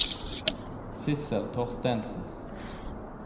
Sissel Thorstensen